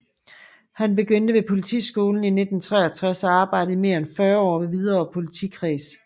Han begyndte ved Politiskolen i 1963 og arbejdede i mere end 40 år ved Hvidovre Politikreds